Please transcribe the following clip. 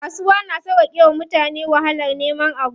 Kasuwa na sauƙake wa mutane wahalar neman abu.